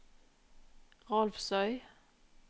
Rolvsøy